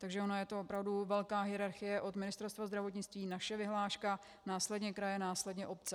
Takže ona je to opravdu velká hierarchie od Ministerstva zdravotnictví, naše vyhláška, následně kraje, následně obce.